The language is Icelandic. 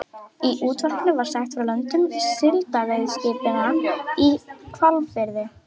Í útvarpinu var sagt frá löndun síldveiðiskipanna í Hvalfirði.